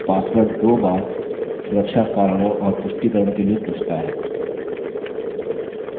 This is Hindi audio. password दो बार सुरक्षा कारणों और पुष्टिकरण के लिए पूछता है